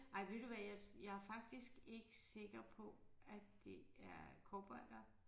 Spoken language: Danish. Ej ved du hvad jeg jeg faktisk ikke sikker på at det er cowboydere